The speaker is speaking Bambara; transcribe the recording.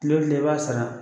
Tile o tile i b'a sara.